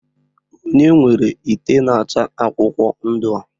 onye nwere ite nacha akwukwo ndu a?